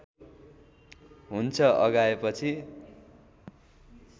हुन्छ अघाएपछि